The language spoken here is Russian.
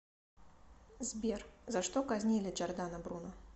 сбер за что казнили джордано бруно